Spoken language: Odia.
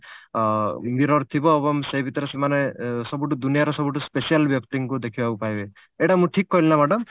ଅ mirror ଥିବ ଏବଂ ସେ ଭିତରେ ସେମାନେ ଏ ସବୁଠୁ ଦୁନିଆର ସବୁଠୁ special ବ୍ୟକ୍ତିଙ୍କୁ ଦେଖିବାକୁ ପାଇବେ ଏଇଟା ମୁଁ ଠିକ କହିଲି ନା madam?